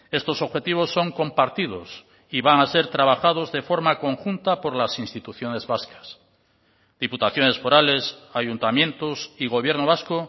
estos objetivos son compartidos y van a ser trabajados de forma conjunta por las instituciones vascas diputaciones forales ayuntamientos y gobierno vasco